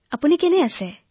আপোনাৰ ভাল নে